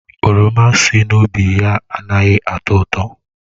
Oroma si n'ubi ya anaghị atọ ụtọ.